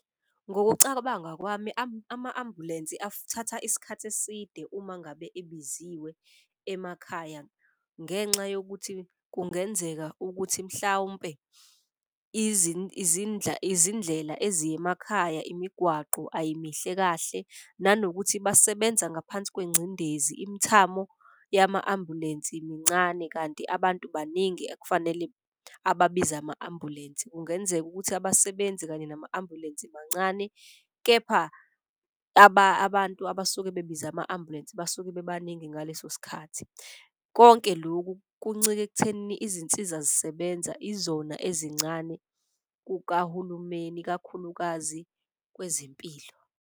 Ngokucabanga kwami ama-ambulensi athatha isikhathi eside uma ngabe ebiziwe emakhaya. Ngenxa yokuthi kungenzeka ukuthi mhlawumpe izindlela eziya emakhaya, imigwaqo ayimihle kahle. Nanokuthi basebenza ngaphansi kwencindezi, imithamo yama-ambulensi mincane kanti abantu baningi ekufanele ababiza ama-ambulensi. Kungenzeka ukuthi abasebenzi kanye nama-ambulensi bancane kepha abantu abasuke bebize ama-ambulensi basuke bebaningi ngaleso sikhathi. Konke loku kuncike ekuthenini izinsiza zisebenza izona ezincane kukahulumeni kakhulukazi kwezempilo.